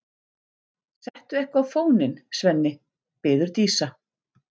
Settu eitthvað á fóninn, Svenni, biður Dísa.